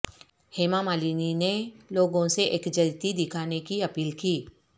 ہیما مالنی نے لوگوں سے یکجہتی دکھانے کی اپیل کی